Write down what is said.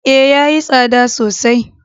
Ee, ya yi tsada sosai.